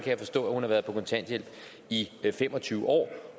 jeg forstå at hun har været på kontanthjælp i fem og tyve år